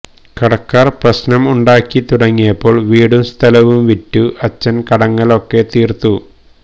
കടക്കാർ പ്രശ്നം ഉണ്ടാക്കി തുടങ്ങിയപ്പോൾ വീടും സഥലവും വിറ്റു അച്ഛൻ കടങ്ങൾ ഒക്കെ തീർത്തു